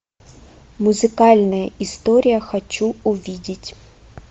музыкальная история хочу увидеть